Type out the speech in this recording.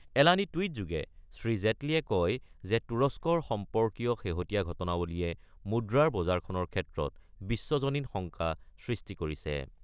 এলানি টুইটযোগে শ্ৰী জেটলীয়ে কয় যে তুৰস্কৰ সম্পৰ্কীয় শেহতীয়া ঘটনাৱলীয়ে মুদ্ৰাৰ বজাৰখনৰ ক্ষেত্ৰত বিশ্বজনীন শংকা সৃষ্টি কৰিছে।